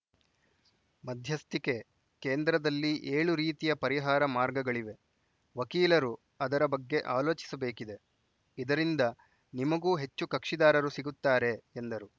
ಮಧ್ಯಸ್ಥಿಕೆ ಕೇಂದ್ರದಲ್ಲಿ ಏಳು ರೀತಿಯ ಪರಿಹಾರ ಮಾರ್ಗಗಳಿವೆ ವಕೀಲರು ಅದರ ಬಗ್ಗೆ ಆಲೋಚಿಸಬೇಕಿದೆ ಇದರಿಂದ ನಿಮಗೂ ಹೆಚ್ಚು ಕಕ್ಷಿದಾರರು ಸಿಗುತ್ತಾರೆ ಎಂದರು